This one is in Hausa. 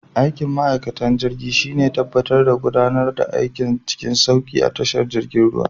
Aikin ma'aikatan jirgin shine tabbatar da gudanar da aiki cikin sauki a tashar girjin ruwa.